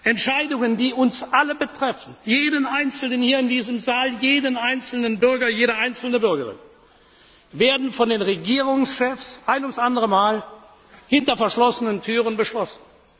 Entscheidungen, die uns alle betreffen, jeden Einzelnen hier in diesem Saal, jede einzelne Bürgerin und jeden einzelnen Bürger, werden von den Regierungschefs ein ums andere Mal hinter verschlossenen Türen beschlossen.